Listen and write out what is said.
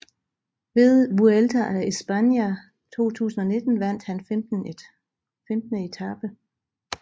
Ved Vuelta a España 2019 vandt han 15 etape